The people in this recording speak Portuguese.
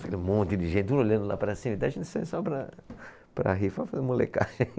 Ficava um monte de gente tudo olhando lá para cima, até a gente sair só para... para rir, para fazer molecagem.